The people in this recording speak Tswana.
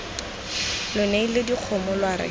lo neile dikgomo lwa re